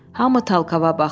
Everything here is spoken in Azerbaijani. Hamı Talkava baxdı.